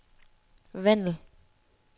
Vandel